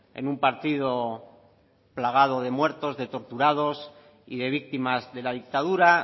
en un partido plagado de muertos de torturados y de víctimas de la dictadura